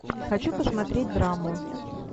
хочу посмотреть драму